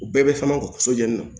U bɛɛ bɛ fɛnw sojɛni